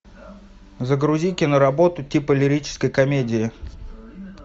загрузи киноработу типа лирической комедии